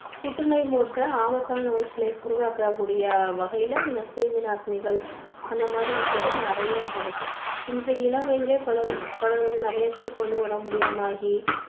புற்று நோய் போன்ற ஆபத்தான நோய்களை உருவாக்கக் கூடிய வகையில இந்தக் கிருமி நாசினிகள் அந்த மாதிரி விஷயங்கள் நிறைய இங்க இருக்கு. இன்றைய இளம் வயதிலேயே பலர் வந்து பலர் வந்து நிறைய பேருக்கு வந்து உடம்பு முடியாம ஆகி